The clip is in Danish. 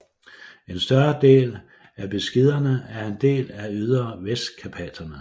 En større del af Beskiderne er en del af de ydre Vestkarpaterne